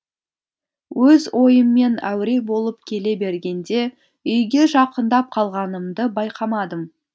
өз ойыммен әуре болып келе бергенде үйге жақындап қалғанымды байқамадым